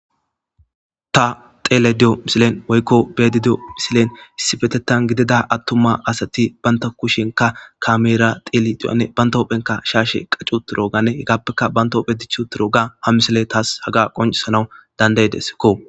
Ta xeele diyo misilen woykko beedi diyo misilen issibetettan gidida attuma asati banta kushenka kameera xeli di7anne banta hophenka shaashe qaccu turo gane hegappeka banta hophe dichu tiro ga ham misile taas haga qoncisana dandaydeskko